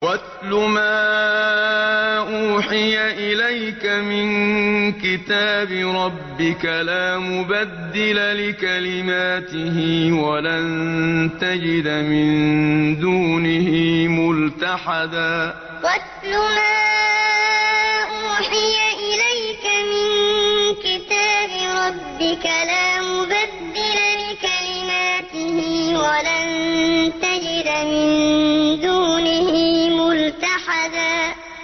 وَاتْلُ مَا أُوحِيَ إِلَيْكَ مِن كِتَابِ رَبِّكَ ۖ لَا مُبَدِّلَ لِكَلِمَاتِهِ وَلَن تَجِدَ مِن دُونِهِ مُلْتَحَدًا وَاتْلُ مَا أُوحِيَ إِلَيْكَ مِن كِتَابِ رَبِّكَ ۖ لَا مُبَدِّلَ لِكَلِمَاتِهِ وَلَن تَجِدَ مِن دُونِهِ مُلْتَحَدًا